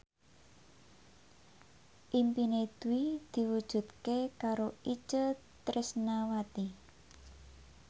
impine Dwi diwujudke karo Itje Tresnawati